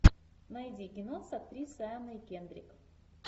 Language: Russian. найди кино с актрисой анной кендрик